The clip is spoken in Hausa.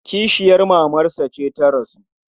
Kishiyar mamarsa ce ta rasu.